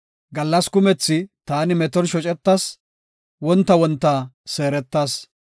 Gallasa kumethi taani meton shocetas; wonta wonta seeretas.